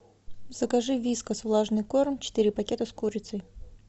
закажи вискас влажный корм четыре пакета с курицей